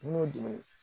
Kungo dun